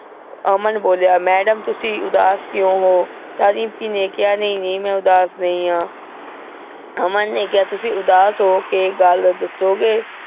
ਅਮਨ ਬੋਲ੍ਯਾ, madam ਤੁਸੀਂ ਉਦਾਸ ਕ੍ਯੋ ਹੋ ਤਾਂ ਦਿਮ੍ਪੀ ਨੇ ਕੇਹਾ ਨਾਈ ਨਾਈ ਮੈਂ ਉਦਾਸ ਨਹੀ ਆਂ ਅਮਨ ਨੇ ਕੇਹਾ ਤੁਸੀਂ ਉਦਾਸ ਹੋ ਕੇ ਗਲ ਦਸੋ ਗੇ